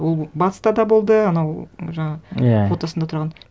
ол батыста да болды анау жаңағы иә фотосында тұрған